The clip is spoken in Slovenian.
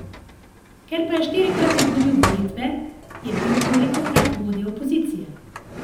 Ker pa je štirikrat izgubil volitve, je bil tolikokrat vodja opozicije.